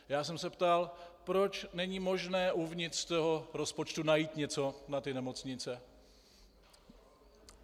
Já jsem se ptal, proč není možné uvnitř toho rozpočtu najít něco na ty nemocnice.